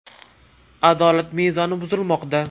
Adolat mezoni buzilmoqda.